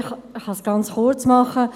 Ich kann es ganz kurz machen: